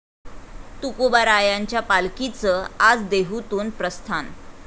तुकोबारायांच्या पालखीचं आज देहूतून प्रस्थान